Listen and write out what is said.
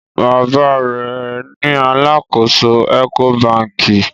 Baba rẹ ní àlàkọ̀só Ecobankì.